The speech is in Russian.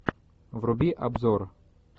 вруби обзор